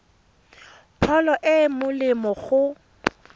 pholo e e molemo go